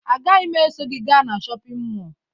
Agaghị m eso gị gaa na shọpịn mọọ